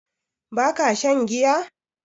Ba ka shan giya?